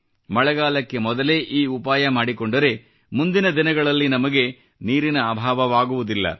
ಮಳೆಗಾಲಕ್ಕೆ ಮೊದಲೇ ಈ ಉಪಾಯ ಮಾಡಿಕೊಂಡರೆ ಮುಂದಿನ ದಿನಗಳಲ್ಲಿ ನಮಗೆ ನೀರಿನ ಅಭಾವವಾಗುವುದಿಲ್ಲ